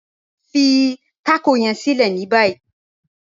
Fí tákọ yẹ̀n sílẹ̀ ní báyì..